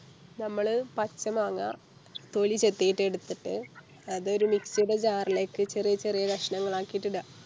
നമ്മള് പച്ച മാങ്ങാ തൊലി ചെത്തിട്ടെടുത്തിട്ട് അത് ഒരു Mix ടെ Jar ലേക്ക് ചെറിയ ചെറിയ കഷ്ണങ്ങളാക്കിട്ടിട